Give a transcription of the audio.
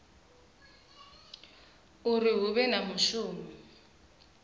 uri hu vhe na mushumo